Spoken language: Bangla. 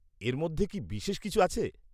এর মধ্যে কি বিশেষ কিছু আছে?